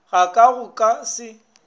ga ka go ka se